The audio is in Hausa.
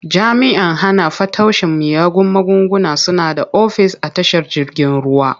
Jami'an hana fataucin miyagun magunguna suna da ofis a tashar jirgin ruwa.